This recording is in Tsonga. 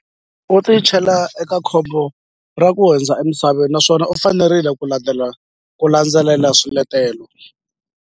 U tichela eka khombo ra ku hundza emisaveni naswona u fanerile ku landzela ku landzelela swiletelo.